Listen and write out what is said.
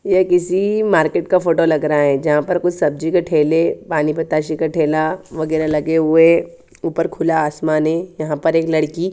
ये किसी मार्केट का फोटो लग रहा है जहा पर कुछ सब्जी के ठेले पानी पताशे का ठेला वगेरा लगे हुए ऊपर खुला आसमान है यहाँ पर एक लड़की--